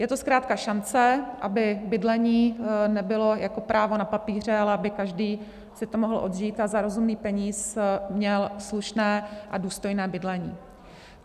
Je to zkrátka šance, aby bydlení nebylo jako právo na papíře, ale aby každý si to mohl odžít a za rozumný peníz měl slušné a důstojné bydlení.